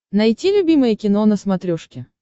найти любимое кино на смотрешке